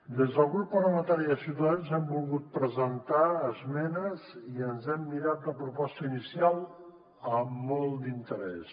des del grup parlamentari de ciutadans hem volgut presentar esmenes i ens hem mirat la proposta inicial amb molt d’interès